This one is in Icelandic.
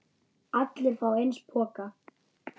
Allir fá eins poka.